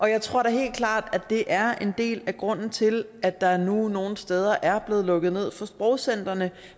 jeg tror da helt klart at det er en del af grunden til at der nu nogle steder er blevet lukket ned for sprogcentrene